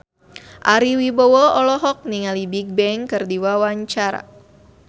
Ari Wibowo olohok ningali Bigbang keur diwawancara